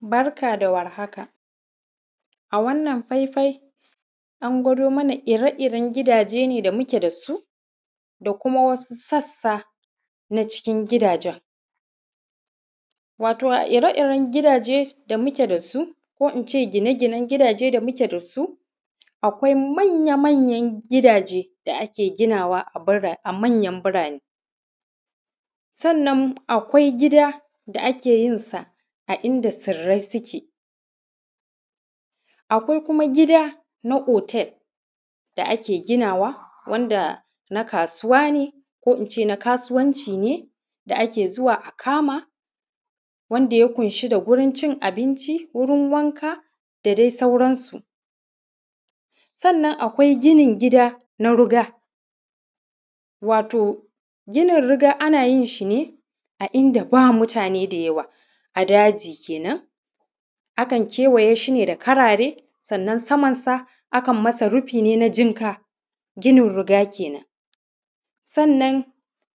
Barka da warhaka, a wannan faifai, an gwado mana ire-iren gidaje ne da muke da su, da kuma wasu sassa na cikin gidajen. Wato, a ire-iren gidaje da muke da su, ko in ce gine-ginen gidaje da muke da su, akwai manya-manyan gidaje da ake ginawa a bira; a manyan birane. Sannan, akwai gida da ake yin sa a inda sirrai sike. Akwai kuma gida na otel da ake ginawa wanda na kasuwa ne ko in ce, na kasuwanci ne da ake zuwa a kama, wanda ya kunshi da wurin cin abinci, wurin wanka da dai sauransu. Sannan, akwai ginin gida na ruga, wato ginin ruga ana yin shi ne a inda ba mutane da yawa, a daji kenan. Akan kewaye shi ne da karare, sannan samansa, akan masa rufi ne na jinka, ginin ruga kenan. Sannan,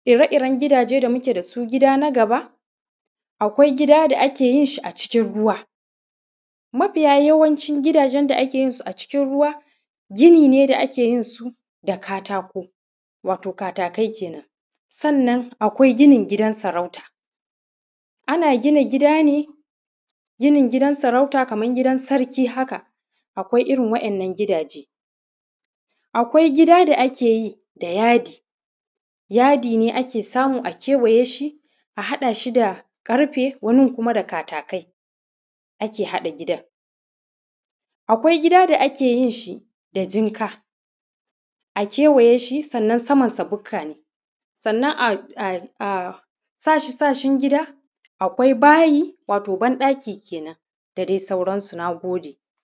ire-iren gidaje da muke da su, gida na gaba, akwai gida da ake yin shi a cikin ruwa, mafiya yawancin gidajen da ake yin su a cikin ruwa, gini ne da ake yin su da katako, wato katakai kenan. Sannan, akwai ginin gidan sarauta, ana gina gida ne, ginin gidan sarauta kaman gidan sarki haka, akwai irin wa’yannan gidaje. Akwai gida da ake yi da yadi, yadi ne ake samu a kewaye shi, a haɗa shi da ƙarfe, wani gun kuma da katakai ake haɗa gidan. Akwai gida da ake yin shi da jinka, a kewaye shi, sannan samansa buka ne. Sannan, a; a; a sashi-sashin gida, akwai bayi, wato banɗaki kenan, da de sauransu, na gode.